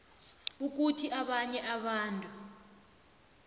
ukuthi abanye abantu